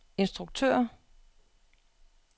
instruktør